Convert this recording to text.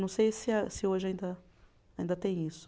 Não sei se a, se hoje ainda tem isso.